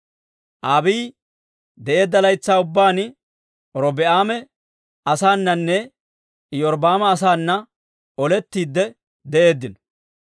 Abiiyi de'eedda laytsaa ubbaan Robi'aama asaananne Iyorbbaama asaana olettiide de'eeddino.